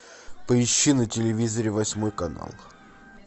поищи на телевизоре восьмой канал